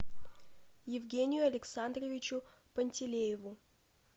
евгению александровичу пантелееву